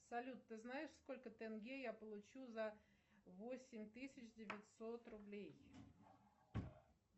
салют ты знаешь сколько тенге я получу за восемь тысяч девятьсот рублей